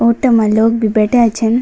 ऑटो मा लोग भी बैठ्याँ छन।